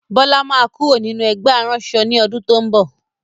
Bọlá máa kúrò nínú ẹgbẹ́ aránṣọ ni ọdún to ń bọ̀.